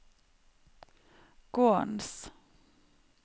gårdens